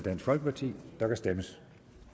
der kan stemmes